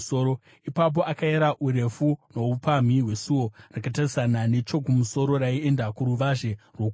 Ipapo akayera urefu noupamhi hwesuo rakatarisana nechokumusoro raienda kuruvazhe rwokunze.